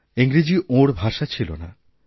ইংরাজি ওঁর ভাষা ছিল না